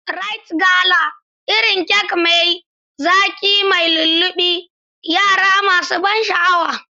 Rite gala, irin kek mai zaki mai lullubi, yara masu ban sha'awa.